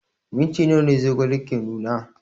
Minti nawa zogale ke nuna?